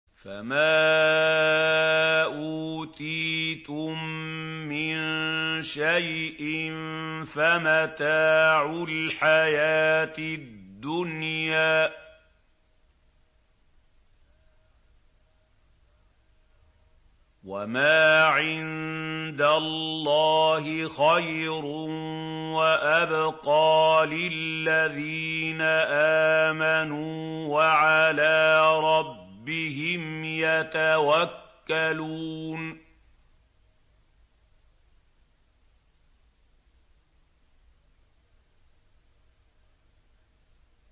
فَمَا أُوتِيتُم مِّن شَيْءٍ فَمَتَاعُ الْحَيَاةِ الدُّنْيَا ۖ وَمَا عِندَ اللَّهِ خَيْرٌ وَأَبْقَىٰ لِلَّذِينَ آمَنُوا وَعَلَىٰ رَبِّهِمْ يَتَوَكَّلُونَ